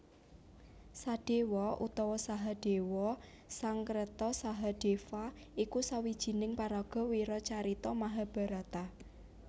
Sadéwa utawa Sahadéwa Sangskreta Sahadeva iku sawijining paraga wiracarita Mahabharata